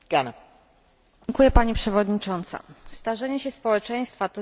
Starzenie się społeczeństwa to zjawisko, które wymaga naszej szczególnej uwagi.